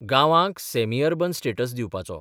गांवाक semi urban status दिवपाचो.